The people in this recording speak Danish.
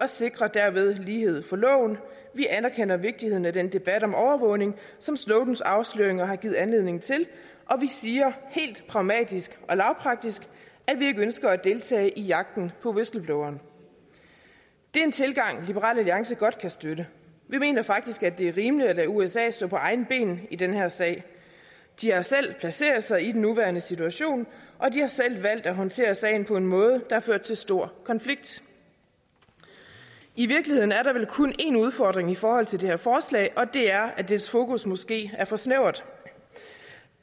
og sikrer derved lighed for loven vi anerkender vigtigheden af den debat om overvågning som snowdens afsløringer har givet anledning til og vi siger helt pragmatisk og lavpraktisk at vi ikke ønsker at deltage i jagten på whistlebloweren det er en tilgang liberal alliance godt kan støtte vi mener faktisk at det er rimeligt at lade usa stå på egne ben i den her sag de har selv placeret sig i den nuværende situation og de har selv valgt at håndtere sagen på en måde der har ført til stor konflikt i virkeligheden er der vel kun en udfordring i forhold til det her forslag og det er at dets fokus måske er for snævert